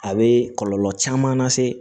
A bɛ kɔlɔlɔ caman lase